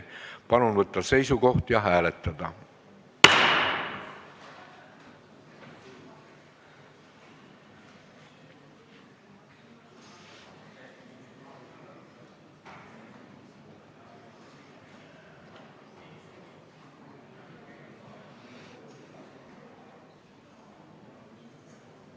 Palun võtta seisukoht ja hääletada!